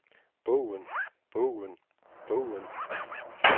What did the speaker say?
bogen bogen bogen